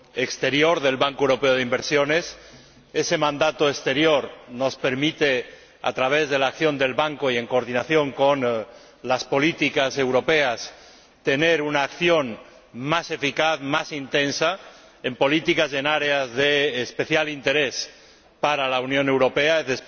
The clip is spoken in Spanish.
exterior del Banco Europeo de Inversiones. Ese mandato exterior nos permite, a través de la acción del Banco y en coordinación con las políticas europeas, realizar una acción más eficaz y más intensa en políticas y en áreas de especial interés para la Unión Europea y